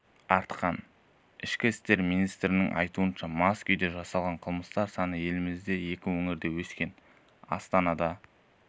артқан ішкі істер министрінің айтуынша мас күйде жасалған қылмыстар саны елімізде екі өңірде өскен астанада